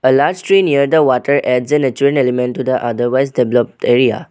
A large tree near the water and other wise developed area.